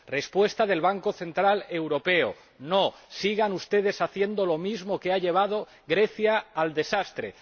Respuesta del Banco Central Europeo no, sigan ustedes haciendo lo mismo que ha llevado a Grecia al desastre.